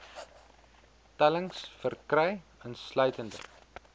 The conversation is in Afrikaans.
tellings verkry insluitende